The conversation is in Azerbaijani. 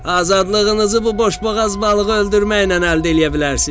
“Azadlığınızı bu boşboğaz balığı öldürməklə əldə eləyə bilərsiz.”